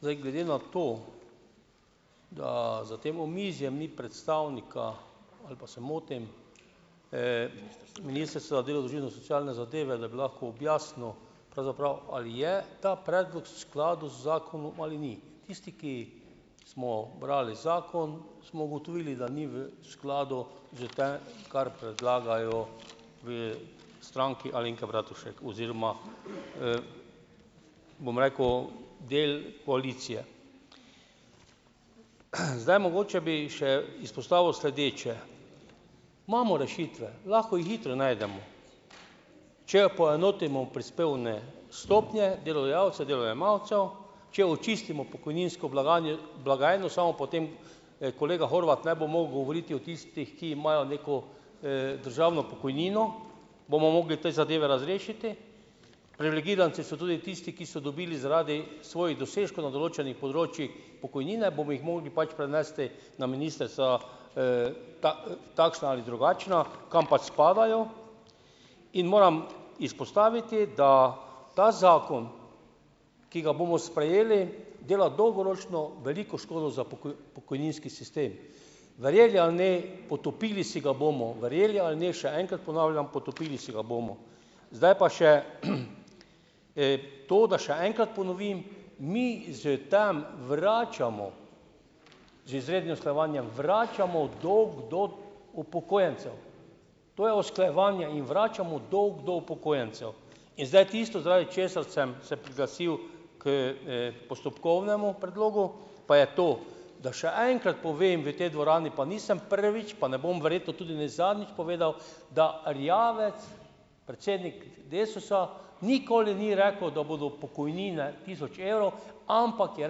Zdaj, glede na to, da za tem omizjem ni predstavnika, ali pa se motim, socialne zadeve, da lahko objasnil pravzaprav, ali je ta predlog skladu z zakonom ali ni. Tisti, ki smo brali zakon, smo ugotovili, da ni v skladu z kar predlagajo v Stranki Alenke Bratušek oziroma, bom rekel, del koalicije. Zdaj, mogoče bi še izpostavil sledeče: imamo rešitve, lahko jih hitro najdemo. Če poenotimo prispevne stopnje delodajalcev, delojemalcev, če očistimo pokojninsko blagajno, samo potem, kolega Horvat ne bo mogel govoriti o tistih, ki imajo neko, državno pokojnino, bomo mogli te zadeve razrešiti. Privilegiranci so tudi tisti, ki so dobili zaradi svoji dosežkov na določenem področju pokojnine, bomo jih mogli pač prenesti na ministrstva, takšna ali drugačna, kam pač spadajo. In moram izpostaviti, da ta zakon, ki ga bomo sprejeli, dela dolgoročno veliko škodo za pokojninski sistem. Verjeli ali ne, potopili si ga bomo. Verjeli ali ne, še enkrat ponavljam, potopili si ga bomo. Zdaj pa še, to, da še enkrat ponovim - mi s tem vračamo, z izrednim usklajevanjem vračamo dolg do upokojencev. To je usklajevanje - jim vračamo dolg do upokojencev. In zdaj tisto, zaradi česar sem se priglasil k, postopkovnemu predlogu, pa je to: da še enkrat povem v tej dvorani, pa nisem prvič, pa ne bom verjetno tudi ne zadnjič povedal, da Erjavec, predsednik Desusa, nikoli ni rekel, da bodo pokojnine tisoč evrov, ampak je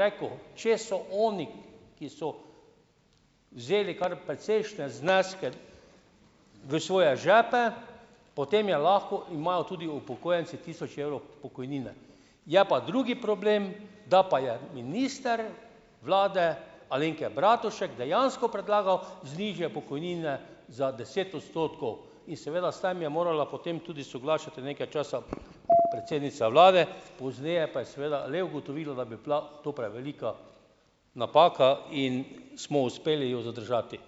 rekel: "Če so oni, ki so vzeli kar precejšnje zneske v svoje žepe, potem je lahko imajo tudi upokojenci tisoč evrov pokojnine." Je pa drugi problem, da pa je minister vlade Alenke Bratušek dejansko predlagal nižje pokojnine za deset odstotkov. In seveda s tem je morala potem tudi soglašati nekaj časa predsednica vlade, pozneje pa je seveda le ugotovila, da bi bila to prevelika napaka in smo uspeli jo zadržati.